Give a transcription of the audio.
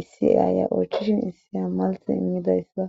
issiyaya oychishin issiya malthe immidayssa.